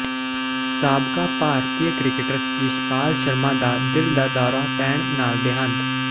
ਸਾਬਕਾ ਭਾਰਤੀ ਕ੍ਰਿਕਟਰ ਯਸ਼ਪਾਲ ਸ਼ਰਮਾ ਦਾ ਦਿਲ ਦਾ ਦੌਰਾ ਪੈਣ ਨਾਲ ਦਿਹਾਂਤ